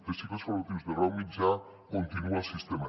de cicles formatius de grau mitjà continue al sistema